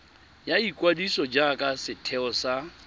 ya ikwadiso jaaka setheo sa